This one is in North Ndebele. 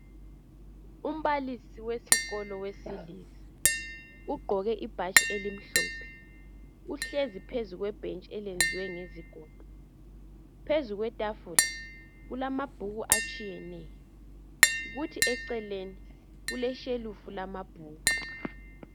Umbalisi wesikolo owesilisa ugqoke ibhatshi elimhlophe uhlezi phezu kwebhentshi eliyenziwe ngegodo phezu kwetafula kulamabhuku atshiyeneyo kuthi eceleni kushelufu yamabhuku